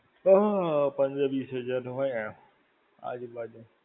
હા, પંદર-વિસ હજાર નું હોય એમ. આજુ-બાજુ.